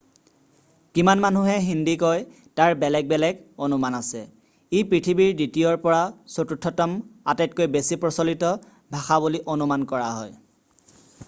কিমান মানুহে হিন্দী কয় তাৰ বেলেগ বেলেগ অনুমান আছে ই পৃথিৱীৰ দ্বিতীয়ৰ পৰা চতুৰ্থতম আটাইতকৈ বেছি প্ৰচলিত ভাষা বুলি অনুমান কৰা হয়